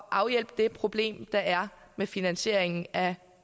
afhjælpe det problem der er med finansieringen af